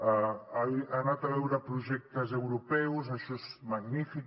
ha anat a veure projectes europeus això és magnífic